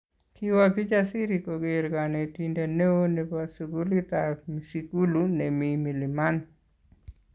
Kiwo Kijasiri koker konetindet neo nebo sukulitap Msigulu nemi Milimani